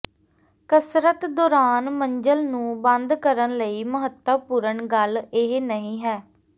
ਕਸਰਤ ਦੌਰਾਨ ਮੰਜ਼ਲ ਨੂੰ ਬੰਦ ਕਰਨ ਲਈ ਮਹੱਤਵਪੂਰਨ ਗੱਲ ਇਹ ਨਹੀਂ ਹੈ